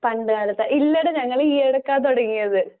പണ്ടുകാലത്ത്, ഇല്ലടാ ഞങ്ങളീയിടയ്ക്കാ തുടങ്ങിയത്.